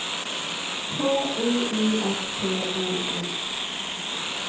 H O U S T O N